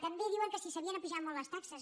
també diuen que si s’havien apujat molt les taxes